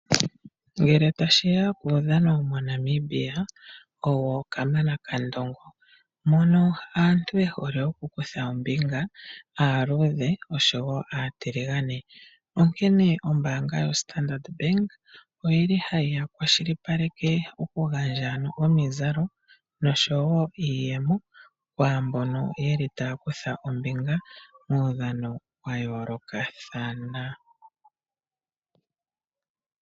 Ngele tashiya kudhano moNamibia owo kamana kandongo, mono aantu yehole okukutha ombinga aludhe oshowo atilingane, onkene ombanga yo Standard Bank oyili hayi kwashilipaleke okungandjwa ano omizalo noshowo iiyemo kwambono yeli takutha ombinga mudhano wayoloka thana.